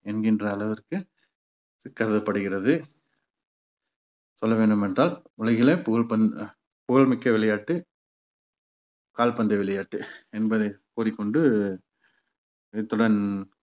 என்கின்ற அளவிற்கு கருதப்படுகிறது சொல்ல வேண்டுமென்றால் உலகிலே புகழ் பந்~ புகழ்மிக்க விளையாட்டு கால்பந்து விளையாட்டு என்பதை கூறிக் கொண்டு இத்துடன்